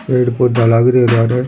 पेड़ पौधा लाग रिया है बारे।